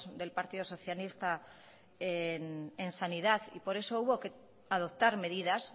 del partido socialista en sanidad y por eso hubo que adoptar medidas